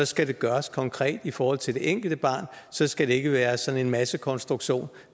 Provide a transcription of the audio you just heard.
skal det gøres konkret i forhold til det enkelte barn så skal det ikke være sådan en massekonstruktion